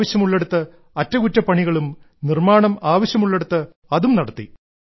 ആവശ്യമുള്ളിടത്ത് അറ്റകുറ്റപ്പണികളും നിർമ്മാണം ആവശ്യമുള്ളിടത്ത് അതും നടത്തി